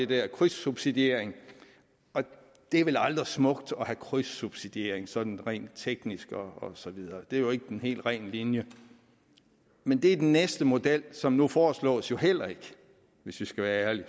der krydssubsidiering det er vel aldrig smukt at have krydssubsidiering sådan rent teknisk og så videre det er jo ikke den helt rene linje men det er den næste model som nu foreslås jo heller ikke hvis vi skal være ærlige